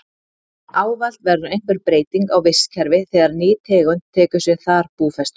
Ávallt verður einhver breyting á vistkerfi þegar ný tegund tekur sér þar búfestu.